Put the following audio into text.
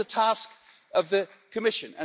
That is a task of the Commission.